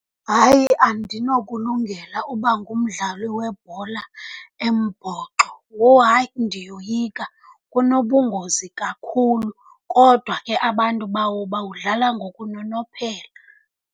Hayi andinokulungela uba ngumdlali webhola embhoxo. Woh! Hayi, ndiyoyika, kunobungozi kakhulu. Kodwa ke abantu bawo bawudlala ngokunonophela.